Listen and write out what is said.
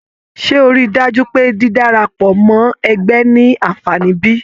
Ṣe o rí dájú pé dídárapọ mọ ẹgbẹ ní anfààní bí?